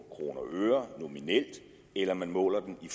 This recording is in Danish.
i kroner og øre eller om man måler den i